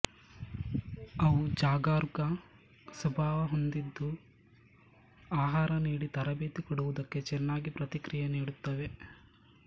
ಅವು ಜಾಗರೂಕ ಸ್ವಭಾವ ಹೊಂದಿದ್ದು ಆಹಾರನೀಡಿ ತರಬೇತಿ ಕೊಡುವುದಕ್ಕೆ ಚೆನ್ನಾಗಿ ಪ್ರತಿಕ್ರಿಯೆ ನೀಡುತ್ತವೆ